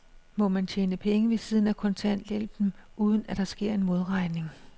Må man tjene penge ved siden af kontanthjælpen, uden at der sker en modregning?